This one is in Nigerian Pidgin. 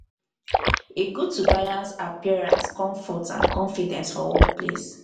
e good to balance appearance comfort and confidence for workplace.